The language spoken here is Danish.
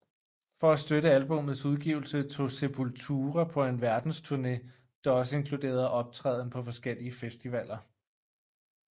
For at støtte albummets udgivelse tog Sepultura på en verdensturné der også inkluderede optræden på forskellige festivaler